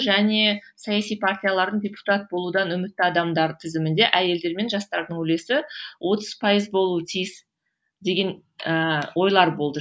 және саяси партиялардың депутат болудан үмітті адамдар тізімінде әйелдер мен жастардың үлесі отыз пайыз болуы тиіс деген ыыы ойлар болды